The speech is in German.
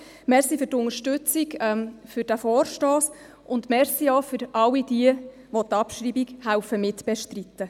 Danke für die Unterstützung des Vorstosses, und danke auch all jenen, die mithelfen, die Abschreibung zu bestreiten.